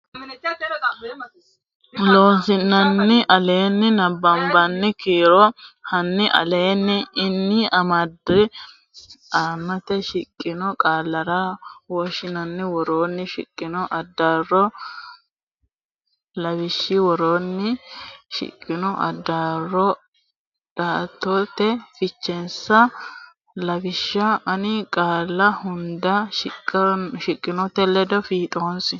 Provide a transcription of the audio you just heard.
Loossinanni aleenni nabbabbini kiiro hanni aleenni ini amado aante shiqqino qaallara lawishshi woroonni shiqqino addaarro dhaaddote fichensa lawishsha ani qaalla hunda shiqqinote ledo fiixoonsi.